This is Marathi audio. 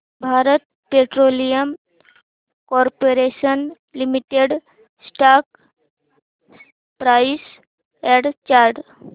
Bharat Petroleum Corporation Limited stock price and chart